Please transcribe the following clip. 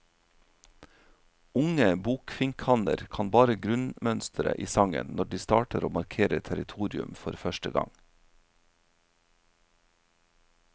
Unge bokfinkhanner kan bare grunnmønsteret i sangen når de starter å markere territorium for første gang.